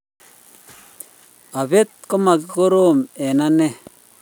apet ko ma korom eng' anee